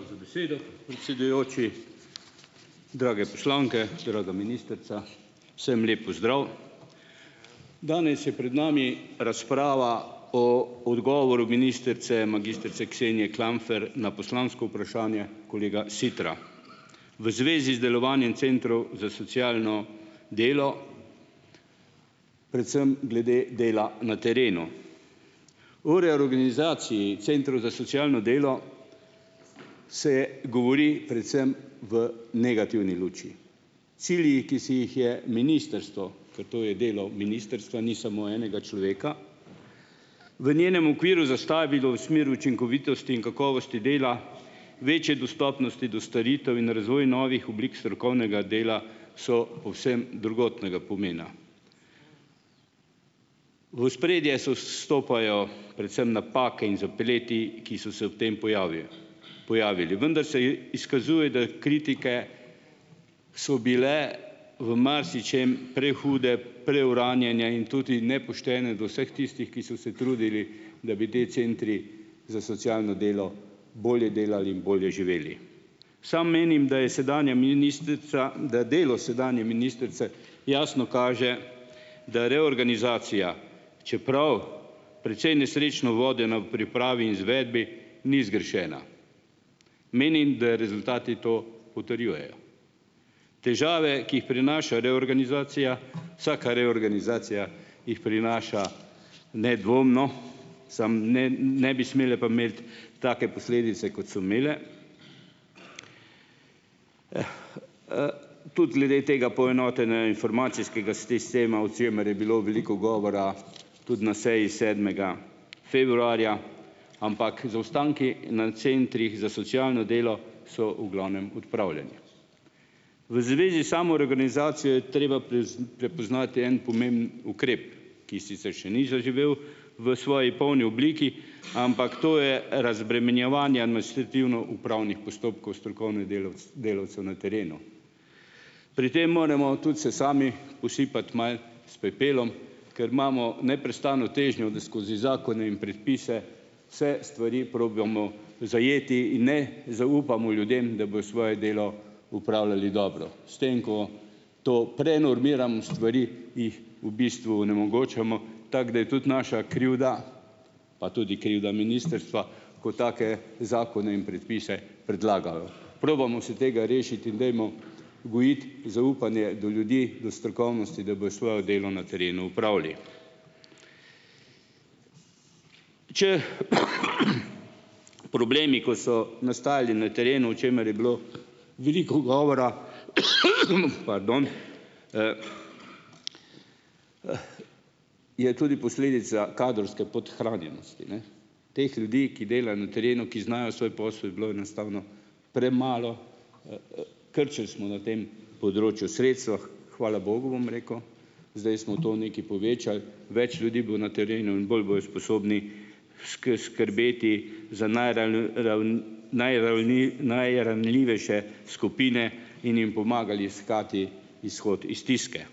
Hvala za besedo, predsedujoči. Drage poslanke, draga ministrica, vsem lep pozdrav! Danes je pred nami razprava o odgovoru ministrice magistrice Ksenije Klampfer na poslansko vprašanje kolega Sitra v zvezi z delovanjem centrov za socialno delo, predvsem glede dela na terenu. O reorganizaciji centrov za socialno delo se govori predvsem v negativni luči. Cilji, ki si jih je ministrstvo, ker to je delo ministrstva, ni samo enega človeka, v njenem okviru zastavilo v smer učinkovitosti in kakovosti dela, večje dostopnosti do storitev in razvoj novih oblik strokovnega dela, so povsem drugotnega pomena. V ospredje so stopajo predvsem napake in zapleti, ki so se ob tem pojavijo, pojavili, vendar se izkazuje, da je kritike so bile v marsičem prehude, preuranjene in tudi nepoštene do vseh tistih, ki so se trudili, da bi te centri za socialno delo bolje delali in bolje živeli. Sam menim, da je sedanja ministrica, da delo sedanje ministrice jasno kaže, da reorganizacija, čeprav precej nesrečno vodena, v pripravi, izvedbi ni zgrešena. Menim, da rezultati to potrjujejo. Težave, ki jih prinaša reorganizacija, vsaka reorganizacija jih prinaša nedvomno, samo, ne ne bi smela pa imeti take posledice, kot so imele. Jah, Tudi glede tega poenotenja informacijskega sistema, o čemer je bilo veliko govora tudi na seji sedmega februarja, ampak zaostanki na centrih za socialno delo so v glavnem odpravljeni. V zvezi s samo reorganizacijo je treba prepoznati en pomemben ukrep, ki sicer še ni zaživel v svoji polni obliki, ampak to je razbremenjevanja administrativno upravnih postopkov strokovnih delavcev na terenu. Pri tem moramo tudi se sami posipati malo s pepelom, ker imamo neprestano težnjo, da skozi zakone in predpise vse stvari probamo zajeti in, ne, zaupamo ljudem, da bojo svoje delo opravljali dobro, s tem, ko to prenormiramo stvari, jih v bistvu onemogočamo, tako da je tudi naša krivda, pa tudi krivda ministrstva, ko take zakone in predpise predlagajo. Probamo se tega rešiti in dajmo gojiti zaupanje do ljudi, do strokovnosti, da bojo svojo delo na terenu opravili. Če problemi, kot so nastajali na terenu, o čemer je bilo veliko govora, pardon, je tudi posledica kadrovske podhranjenosti, ne. Teh ljudi, ki delajo na terenu, ki znajo svoj posel, je bilo enostavno premalo. Krčili smo na tem področju sredstva, hvala bogu, bom rekel, zdaj smo to nekaj povečali. Več ljudi bo na terenu in bolj bojo sposobni skrbeti za najranljivejše skupine in jim pomagali iskati izhod iz stiske.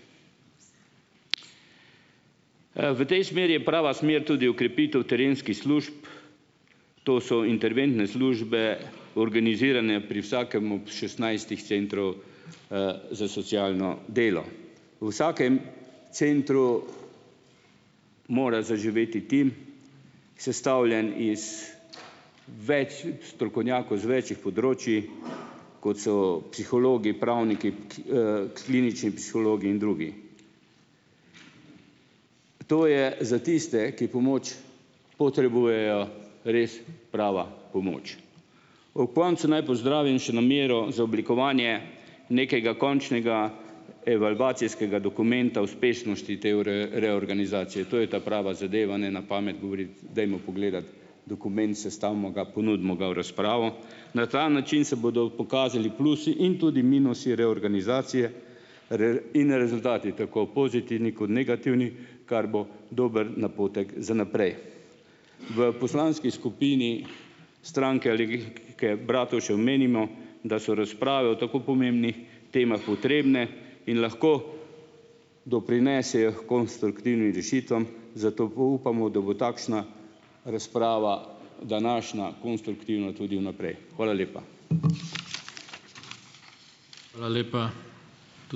V tej smeri je prava smer tudi okrepitev terenskih služb, to so interventne službe, organizirane pri vsakem ob šestnajstih centrov, za socialno delo. V vsakem centru mora zaživeti tim, sestavljen iz več strokovnjakov, iz več področij, kot so psihologi, pravniki, klinični psihologi in drugi. To je za tiste, ki pomoč potrebujejo, res prava pomoč. Ob koncu naj pozdravim še namero za oblikovanje nekega končnega evalvacijskega dokumenta uspešnosti te reorganizacije. To je ta prava zadeva, ne na pamet govoriti, dajmo pogledati dokument, sestavimo ga, ponudimo ga v razpravo. Na ta način se bodo pokazali plusi in tudi minusi reorganizacije in rezultati, tako pozitivni kot negativni, kar bo dober napotek za naprej. V poslanski skupini Stranke Alenke Bratušek menimo, da so razprave o tako pomembnih temah potrebne in lahko doprinesejo h konstruktivnim rešitvam, zato upamo, da bo takšna razprava, današnja, konstruktivna tudi vnaprej. Hvala lepa.